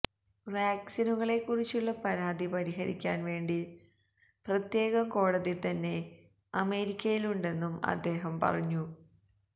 വാക്സിനുകളെ കുറിച്ചുള്ള പരാതി പരിഹരിക്കാൻ വേണ്ടി പ്രത്യേകം കോടതി തന്നെ അമേരിക്കയിലുണ്ടെന്നും അദ്ദേഹ പറഞ്ഞു